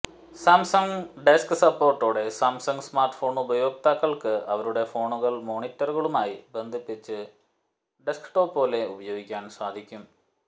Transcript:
Samsung DeX സപ്പോർട്ടോടെ Samsung smartphone ഉപയോക്താക്കൾക്ക് അവരുടെ ഫോണുകൾ മോണിറ്ററുകളുമായി ബന്ധിപ്പിച്ച് ഡെസ്ക് ടോപ്പ് പോലെ ഉപയോഗിക്കാൻ സാധിക്കും